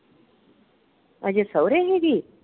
ਅਜੇ ਸਹੁਰੇ ਹੈਗੀ ।